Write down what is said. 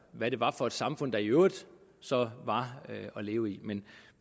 hvad det var for et samfund der i øvrigt så var at leve i men